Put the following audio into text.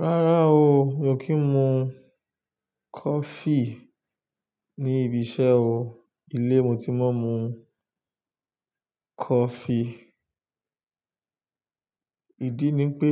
Rárá o, mi ò kí ń mu coffee ní ibi iṣẹ́ o. Ilé mo ti máa ń mu coffee. Ìdí ni pé